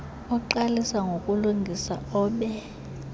oqalisa ngokulungisa obe